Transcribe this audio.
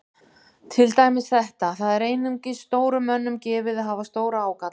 Til dæmis þetta: Það er einungis stórum mönnum gefið að hafa stóra ágalla.